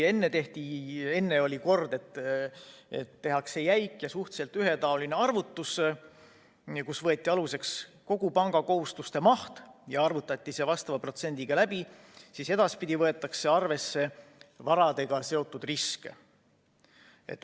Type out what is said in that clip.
Enne oli kord, et tehakse jäik ja suhteliselt ühetaoline arvutus, mille korral võeti aluseks kogu panga kohustuste maht ja arvutati see vastava protsendiga läbi, aga edaspidi võetakse arvesse varadega seotud riske.